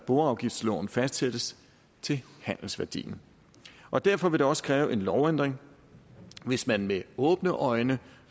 boafgiftsloven fastsættes til handelsværdien og derfor ville det også kræve en lovændring hvis man med åbne øjne